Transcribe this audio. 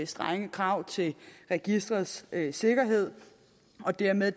strenge krav til registerets sikkerhed og dermed